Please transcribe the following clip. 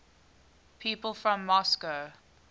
people from moscow